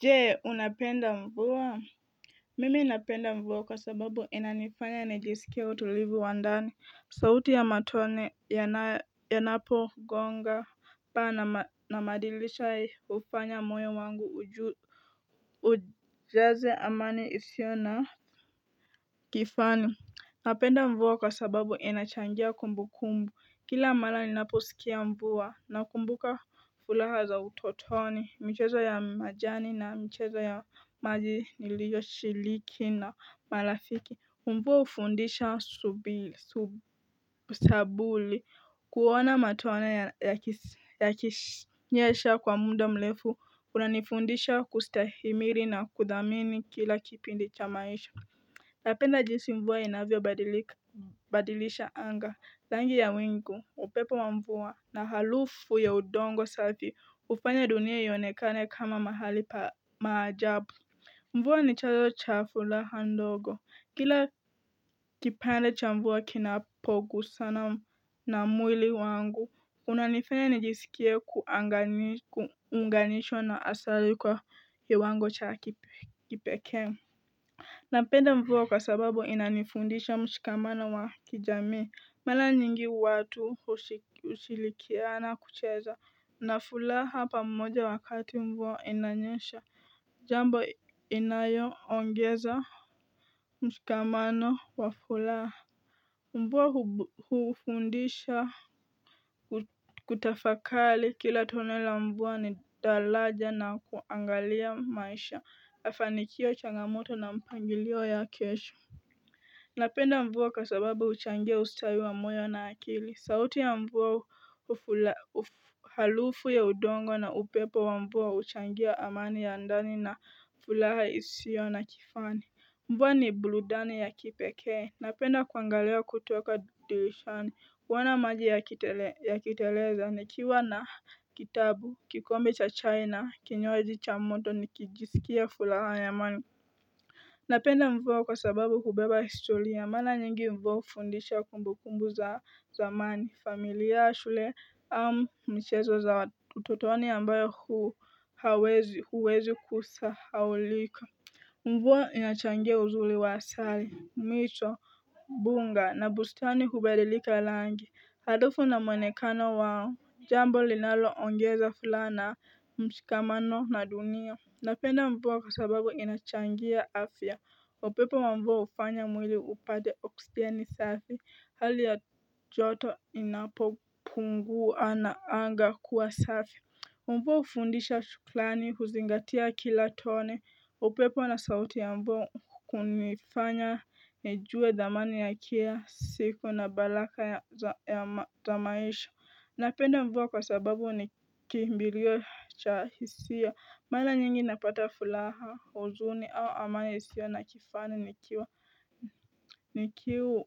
Jee unapenda mvua mimi napenda mvua kwasababu inanifanya nijisikie utulivu wa ndani sauti ya matone yanapogonga paa na madilisha ufanya moyo wangu ujaze amani isio na kifani napenda mvua kwasababu inachangia kumbukumbu kila mala ninaposikia mvua nakumbuka fulaha za utotoni michezo ya majani na mchezo ya maji niliyoshiriki na malafiki mvua ufundisha sabuli kuona matune yaki nyesha kwa muda mlefu u inanifundisha kustahimiri na kudhamini kila kipindi cha maisha napenda jinsi mvua inavyo badilisha anga rangi ya wingu upepo wa mvua na halufu ya udongo safi ufanya dunia ionekane kama mahali pamaajabu mvua ni chayo cha furaha ndogo kila kipande cha mvua kinapogusana na mwili wangu unanifanya nijisikie kuunganishwa na asari kwa kiwango cha kipekee napenda mvua kwasababu inanifundisha mshikamano wa kijami Mala nyingi watu usilikiana kucheza nafulaha pamoja wakati mvua inanyesha jambo inayo ongeza mshikamano wa furaha mvua hufundisha kutafakali kila tono la mvua ni dalaja na kuangalia maisha mafanikio changamoto na mpangilio ya kesho napenda mvua kakwababu uchangia ustawi wa moyo na akili sauti ya mvua harufu ya udongo na upepo wa mvua uchangia amani ya ndani na furaha isio na kifani mvua ni burudani ya kipekee napenda kuangalia kutoka dirishani kuona maji yakiteleza nikiwa na kitabu kikombe cha chai na kinywaji chamoto nikijisikia furaha yamani napenda mvua kwa sababu hubeba historia mara nyingi mvua ufundisha kumbukumbu za zamani familia shule michezo za utotoni ambayo huwezi kusahaulika mvua inachangia uzuri wa asali mito bunga na bustani hubadilika rangi harufu na mwonekano wao jambo linalo ongeza furaha na msikamano na dunia napenda mvua kwasababu inachangia afya upepo wa mvua ufanya mwili upate oksijeni safi hali ya joto inapopungua na anga kuwa safi mvua ufundisha shuklani huzingatia kila tone upepo na sauti ya mvua kunifanya neiue dhamani ya kilasiku na balaka zamaisha napenda mvua kwasababu nikimbilio chahisia maranyingi napata furaha huzuni au amani isiyo na kifani nikiwa